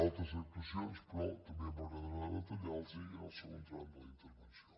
altres actuacions però també m’agradarà detallar les hi en el segon tram de la intervenció